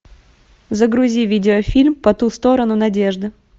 загрузи видеофильм по ту сторону надежды